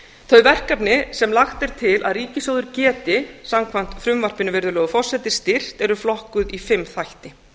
þau verkefni sem lagt er til að ríkissjóður geti samkvæmt frumvarpinu virðulegur forseti styrkt eru flokkuð í fimm þætti